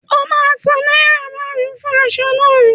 O ma san náírà márùn-ún fún aṣọ náà